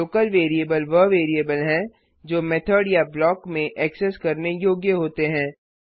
local variable वह variable हैं जो मेथड या ब्लॉक में एक्सेस करने योग्य होते हैं